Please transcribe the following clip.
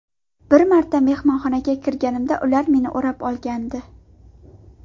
Bir marta mehmonxonaga kirganimda ular meni o‘rab olgandi.